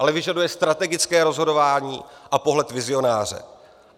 Ale vyžaduje strategické rozhodování a pohled vizionáře.